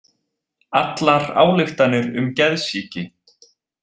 Allar ályktanir um geðsýki.